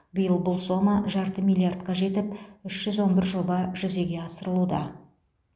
биыл бұл сома жарты миллиардқа жетіп үш жүз он бір жоба жүзеге асырылуда